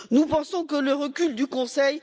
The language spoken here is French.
Nous pensons que le recul du Conseil